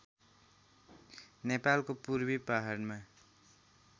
नेपालको पूर्वी पहाडमा